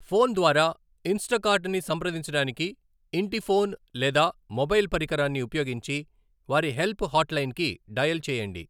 Phone ద్వారా Instacart ని సంప్రదించడానికి, ఇంటి ఫోన్ లేదా మొబైల్ పరికరాన్ని ఉపయోగించి వారి హెల్ప్ హాట్లైన్కి డయల్ చేయండి.